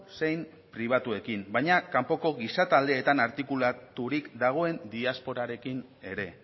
zein pribatuekin baina kanpoko gizataldeetan artikulaturik dagoen diasporarekin ere